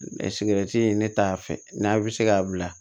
ne t'a fɛ n'a bɛ se k'a bila